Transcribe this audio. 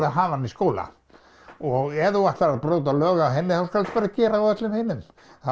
að hafa hana í skóla og ef þú ætlar að brjóta lög á henni skaltu bara gera það á öllum hinum